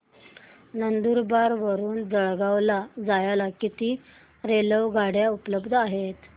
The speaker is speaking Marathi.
नंदुरबार वरून जळगाव ला जायला किती रेलेवगाडया उपलब्ध आहेत